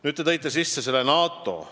Nüüd te tõite sisse NATO.